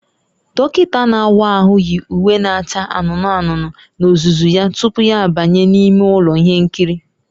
Dọkịta na-awa ahụ yi uwe na-acha anụnụ anụnụ n'ozuzu ya tupu ya abanye n'ime ụlọ ihe nkiri